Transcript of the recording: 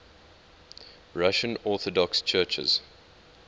russian orthodox churches